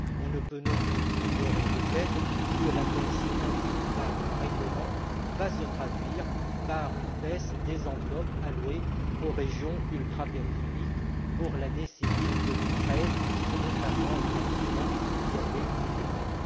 On ne peut non plus ignorer le fait que la baisse induite par le règlement va se traduire par une baisse des enveloppes allouées aux régions ultrapériphériques pour l'année civile 2013, contrairement aux engagements qui avaient été pris.